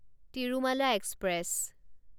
Tirumala express